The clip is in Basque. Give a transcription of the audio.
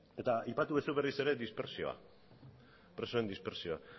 eta aipatu duzu berriz ere dispertsioa presoen dispertsioa